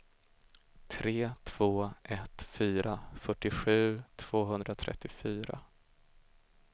tre två ett fyra fyrtiosju tvåhundratrettiofyra